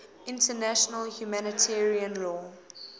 international humanitarian law